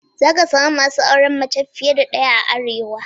Za ka samu masu auren mace fiye da daya a Arewa.